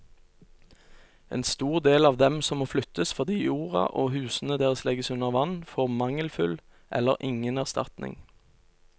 En stor del av dem som må flyttes fordi jorda og husene deres legges under vann, får mangelfull eller ingen erstatning.